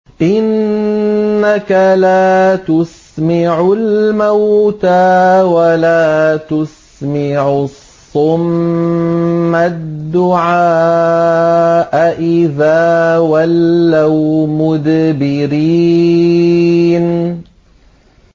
إِنَّكَ لَا تُسْمِعُ الْمَوْتَىٰ وَلَا تُسْمِعُ الصُّمَّ الدُّعَاءَ إِذَا وَلَّوْا مُدْبِرِينَ